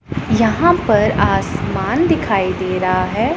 यहां पर आसमान दिखाई दे रहा है।